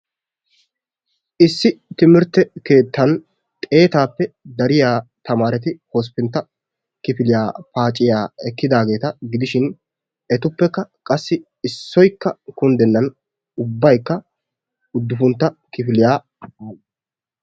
Issi timirtte keettan xeetaappe dariya naati hosppuntta kifiliy paciyaaa ekkidaageeta gidishin etuppekka qassi issoykka kunddennan ubbaykka uddufuntta kifiliya aadhdhidosona.